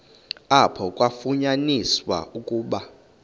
apho kwafunyaniswa ukuba